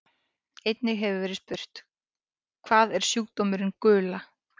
Einnig hefur verið spurt: Hvað er sjúkdómurinn gula?